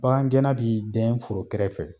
Bakangɛnna b'i dɛn foro kɛrɛfɛ.